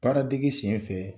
Baara dege senfɛ,